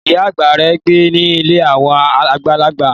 Ìyá àgbà rẹ̀ ń gbé ní ilé àwọn àgbàlagbà